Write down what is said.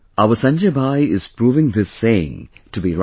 Our Sanjay Bhai is proving this saying to be right